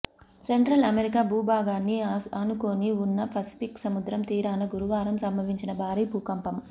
central America భూభాగాన్ని ఆనుకుని వున్న పసిఫిక్ సముద్రం తీరాన గురువారం సంభవించిన భారీ భూకంపం